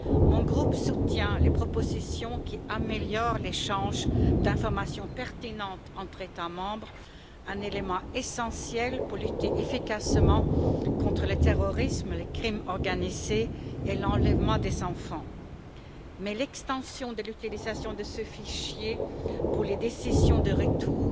Mon groupe soutient les propositions qui améliorent l'échange d'informations pertinentes entre États membres, un élément essentiel pour lutter efficacement contre le terrorisme, le crime organisé et l'enlèvement d'enfants. Mais l'extension de l'utilisation de ce fichier pour les décisions de retour